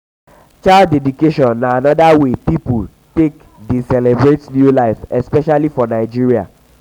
child dedication na anoda wey wey pipo take dey celebrate new life especially for nigeria